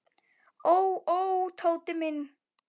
Ó, ó, Tóti minn.